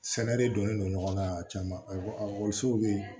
Sɛnɛ de donnen don ɲɔgɔn na caman bɛ yen